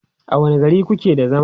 a wani gari kuke da zama?